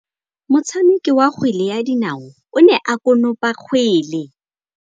Motshameki wa kgwele ya dinaô o ne a konopa kgwele.